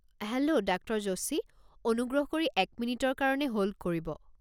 Hello doctor Joshi. অনুগ্ৰহ কৰি এক মিনিটৰ কাৰণে হ'ল্ড কৰিব।